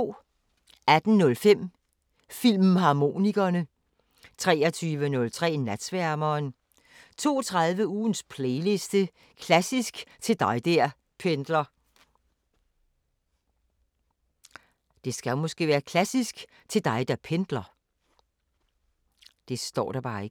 18:05: Filmharmonikerne 23:03: Natsværmeren 02:30: Ugens playliste – Klassisk til dig der pendler